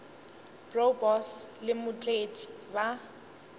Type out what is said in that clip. bro boss le mootledi ba